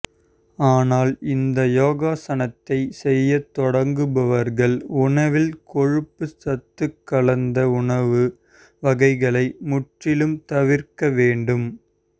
ஆனால் இந்த யோகாசனத்தை செய்ய தொடங்குபவர்கள் உணவில் கொழுப்புசத்து கலந்த உணவு வகைகளை முற்றிலும் தவிர்க்க வேண்டும்